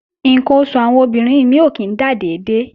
Ǹkan oṣù àwọn obìnrin mí ò kí ń dà dédé